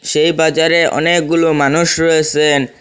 সেই বাজারে অনেকগুলো মানুষ রয়েসেন।